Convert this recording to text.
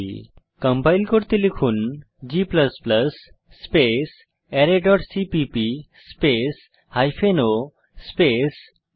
compile করতে লিখুন g space array dot CPP space hyphen o space আরায়1